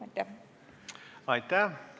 Aitäh!